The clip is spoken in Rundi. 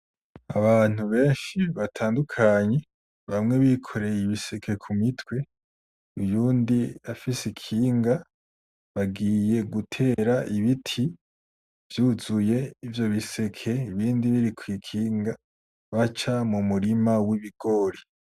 Abantu benshi batandukanye bamwe bikoreye ibiseke ku mitwe uyundi afise ikinga, bagiye gutera ibiti vyuzuye ivyo biseke ibindi biri kw'ikinga baca mu murima w'ibigori.